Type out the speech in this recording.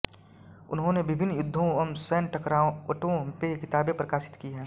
उन्होंने विभिन्न युद्धों व सैन्य टकरावटों पे किताबें प्रकाशित की हैं